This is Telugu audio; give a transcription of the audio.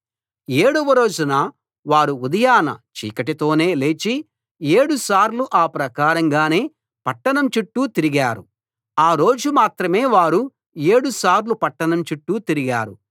ఏడవ రోజున వారు ఉదయాన చీకటితోనే లేచి ఏడుసార్లు ఆ ప్రకారంగానే పట్టణం చుట్టూ తిరిగారు ఆ రోజు మాత్రమే వారు ఏడుసార్లు పట్టణం చుట్టూ తిరిగారు